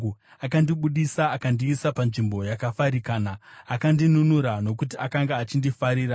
Akandibudisa akandiisa panzvimbo yakafarikana; akandinunura nokuti akanga achindifarira.